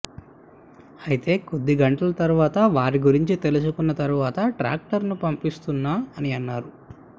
అయితే కొద్ది గంటల తర్వాత వారి గురించి తెలుసుకున్న తర్వాత ట్రాక్టర్ ను పంపిస్తున్నా అని అన్నారు